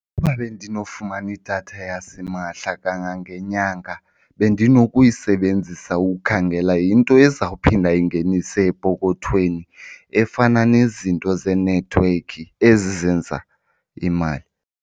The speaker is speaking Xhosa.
Ukuba bendinofumana idatha yasimahla kangangenyanga bendinokuyisebenzisa ukukhangela into ezawuphinda ingenise epokothweni, efana nezinto zeenethiwekhi ezi zenza imali.